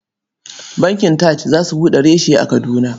Bankin TAJ za su buɗe reshe a Kadina.